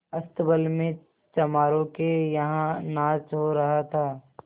अस्तबल में चमारों के यहाँ नाच हो रहा था